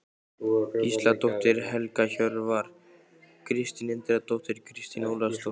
Gísladóttir, Helga Hjörvar, Kristín Indriðadóttir, Kristín Ólafsdóttir